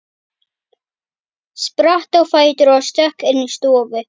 Spratt á fætur og stökk inn í stofu.